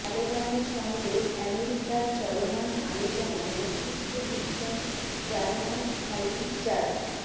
তালেবানের সঙ্গে আমেরিকার চলমান আলোচনায় নেতৃত্ব দিচ্ছেন জালমাই খালিলজাদ